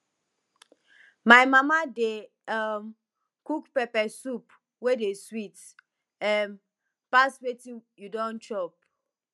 my mama dey um cook pepper soup wey dey sweet um pass wetin we you don chop